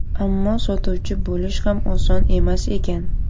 Ammo sotuvchi bo‘lish ham oson emas ekan.